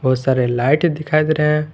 बहुत सारे लाइट दिखाई दे रहे हैं।